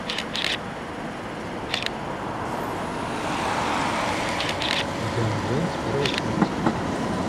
индиана джонс первая часть